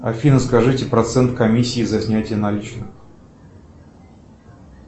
афина скажите процент комиссии за снятие наличных